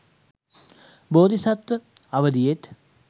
බෝධි සත්ව අවධියෙත්